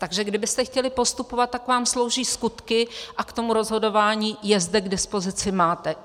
Takže kdybyste chtěli postupovat, tak vám slouží skutky a k tomu rozhodování je zde k dispozici máte.